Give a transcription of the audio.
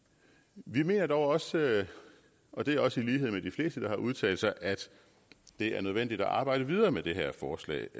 vi mener dog også og det er også i lighed med de fleste der har udtalt sig at det er nødvendigt at arbejde videre med det her forslag